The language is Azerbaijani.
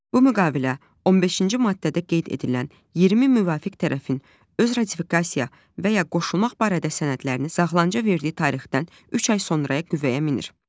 Bu müqavilə 15-ci maddədə qeyd edilən 20 müvafiq tərəfin öz ratifikasiya və ya qoşulmaq barədə sənədlərini saxlanıca verdiyi tarixdən üç ay sonraya qüvvəyə minir.